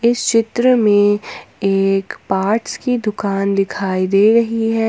इस चित्र में एक पर्ट्स की दुकान दिखाई दे रही है।